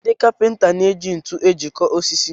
Ndị Kapịnta na-eji ntu ejikọ osisi